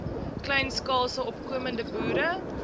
kleinskaalse opkomende boere